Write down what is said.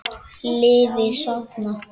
Liði safnað.